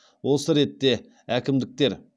осы ретте әкімдіктер